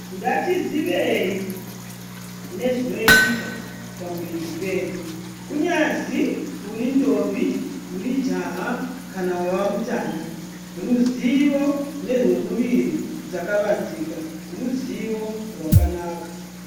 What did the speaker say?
Ngatiziwei nezvinoitika pamuwiri pedu kunyazi uri mujaya uri ndombi kana wawa mutana ruziwo nezvemuwiri zvakawanzika ruziwo rakanaka.